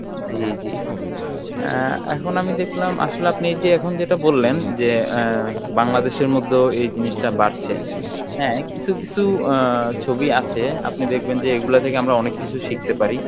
জী জী, আহ এখন আমি দেখলাম আসলে আপনি এই যে এখন যেটা বললেন যে আহ বাংলাদেশের মধ্যেও এই জিনিসটা বাড়ছে হ্যাঁ কিছু কিছু আহ ছবি আছে আপনি দেখবেন যে এইগুলা থেকে আমরা অনেক কিছু শিখতে পারি